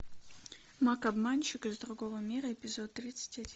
маг обманщик из другого мира эпизод тридцать один